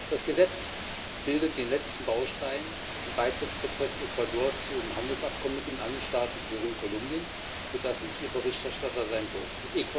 Das Gesetz bildet den letzten Baustein im Beitrittsprozess Ecuadors zu dem Handelsabkommen mit den Andenstaaten Peru und Kolumbien, für das ich hier Berichterstatter sein durfte.